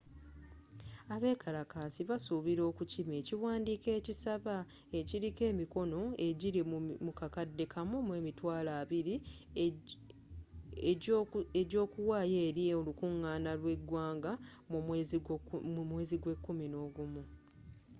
abekalakasi basuubira okukima ekiwandiiko ekisaba ekiliko emikono ejili mu kakade kamu mu emitwalo abili egyokuwaayo eri olukungaana lw'egwanga mu mweezi gw'ekumi nogumu